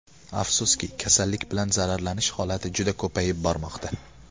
Afsuski, kasallik bilan zararlanish holati juda ko‘payib bormoqda.